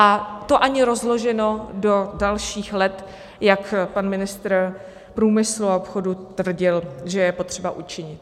A to ani rozloženo do dalších let, jak pan ministr průmyslu a obchodu tvrdil, že je potřeba učinit.